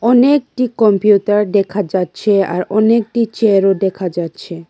অনেকটি কম্পিউটার দেখা যাচ্ছে আর অনেকটি চেয়ারও দেখা যাচ্ছে।